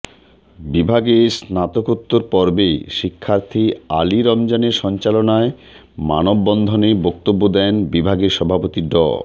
বিভাগের স্নাতকোত্তর পর্বের শিক্ষার্থী আলী রমজানের সঞ্চালনায় মানববন্ধনে বক্তব্য দেন বিভাগের সভাপতি ড